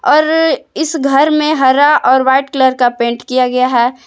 और इस घर में हरा और वाइट कलर का पेंट किया गया है।